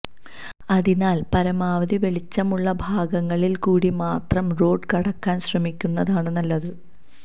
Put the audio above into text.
അതിനാല് പരമാവധി വെളിച്ചമുള്ള ഭാഗങ്ങളില് കൂടി മാത്രം റോഡ് കടക്കാന് ശ്രമിക്കുന്നതാണ് നല്ലത്